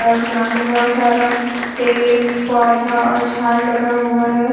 उस ग्राउंड में बहोत सारा पेड़ पौधा और झाड़ लगा हुआ है।